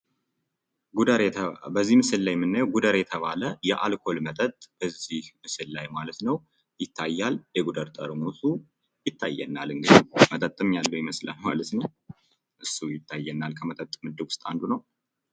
በዚህ ምስል ላይ የምናየው ጉደር የተባለ የአልኮል መጠጥ በዚህ ምስል ላይ ማለት ነው ይታያል ፤ የጉደር ጠርሙሱ ይታየናል እንግዲህ መጠጥም ያለዉ ይመስላል ፤ እሱ ይታየናል ከመጠጥ ምድብ ዉስጥ አንዱ ነው።